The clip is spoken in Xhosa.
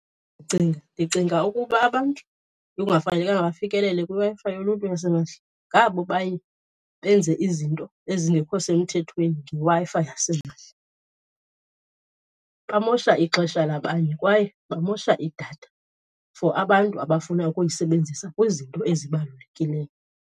Ndicinga, ndicinga ukuba abantu ekungafanelekanga bafikelele kwiWi-Fi yoluntu yasimahla ngabo baye benze izinto ezingekho semthethweni ngeWi-Fi yasimahla. Bamosha ixesha labanye kwaye bamosha idatha for abantu abafuna ukuyisebenzisa kwizinto ezibalulekileyo.